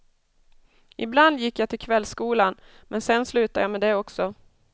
Ibland gick jag till kvällskolan, men sedan slutade jag med det också.